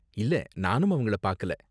இல்ல, நானும் அவங்கள பாக்கல.